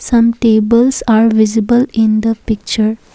some tables are visible in the picture.